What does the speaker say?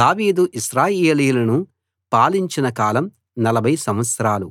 దావీదు ఇశ్రాయేలీయులను పాలించిన కాలం 40 సంవత్సరాలు